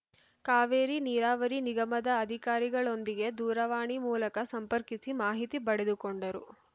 ಕಾವೇರಿ ನೀರಾವರಿ ನಿಗಮದ ಅಧಿಕಾರಿಗಳೊಂದಿಗೆ ದೂರವಾಣಿ ಮೂಲಕ ಸಂಪರ್ಕಿಸಿ ಮಾಹಿತಿ ಪಡೆದುಕೊಂಡರು